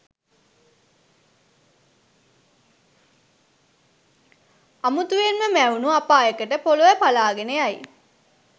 අමුතුවෙන්ම මැවුණු අපායකට පොළව පළාගෙන යයි.